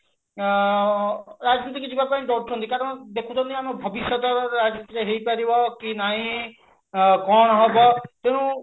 ଆଁ ରାଜନୀତି କୁ ଯିବା ପାଇଁ ଡରୁଛନ୍ତି କାରଣ ଦେଖୁଛନ୍ତି ଆମ ଭବିଷ୍ୟତ ରାଜନୀତିରେ ହେଇପାରିବ କି ନାହିଁ କଣ ହବ ତେଣୁ